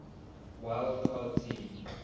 wild card team